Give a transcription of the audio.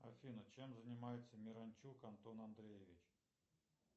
афина чем занимается миранчук антон андреевич